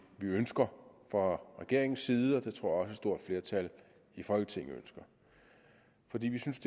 ønsker fra regeringens side og det tror jeg stort flertal i folketinget ønsker fordi vi synes